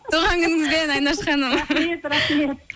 туған күніңізбен айнаш ханым рахмет рахмет